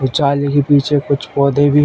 जाली के पीछे कुछ पौधे भी --